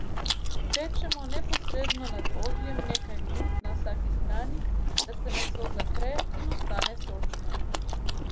Pečemo neposredno nad ogljem nekaj minut na vsaki strani, da se meso zapre in ostane sočno.